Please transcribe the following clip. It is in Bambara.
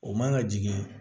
O man ka jigin